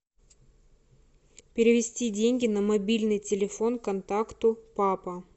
перевести деньги на мобильный телефон контакту папа